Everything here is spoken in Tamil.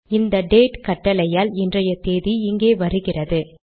இந்த டேட் கட்டளையால் இன்றைய தேதி இங்கே வருகிறது